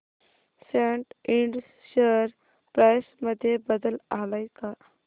सॅट इंड share price मध्ये बदल आलाय का